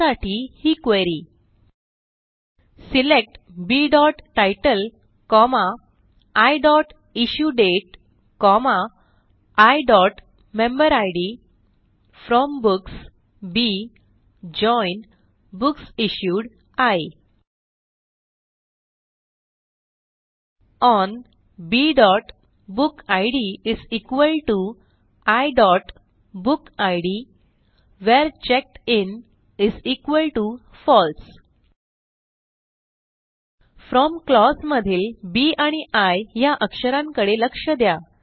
त्यासाठी ही query select bतितले iइश्युडेट iमेंबेरिड from books b join books issued i on bबुकिड iबुकिड where checked in false from clause मधील बी आणि आय ह्या अक्षरांकडे लक्ष द्या